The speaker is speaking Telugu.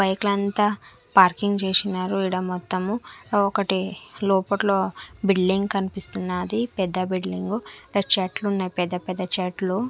బైక్ లంతా పార్కింగ్ చేసినారు ఈడ మొత్తము ఒకటి లోపట్లో బిల్డింగ్ కనిపిస్తున్నాది పెద్ద బిల్డింగ్ ఈడ చెట్లున్నాయ్ పెద్ద పెద్ద చెట్లు.